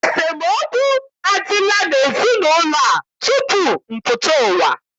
Esemookwu adịla n'ezinaụlọ a tutu m pụta ụwa.